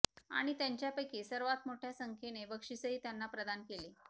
आणि त्यांच्यापैकी सर्वात मोठ्या संख्येने बक्षीसही त्यांना प्रदान केले